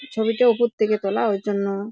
ছবিটা উপর থেকে তোলা ঐ জন্য ।